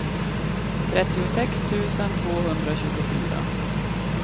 trettiosex tusen tvåhundratjugofyra